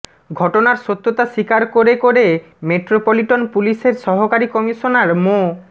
ঘটনার সত্যতা স্বীকার করে করে মেট্রোপলিটন পুলিশের সহকারী কমিশনার মো